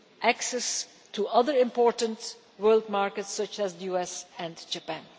access to other important world markets such as the US and Japan.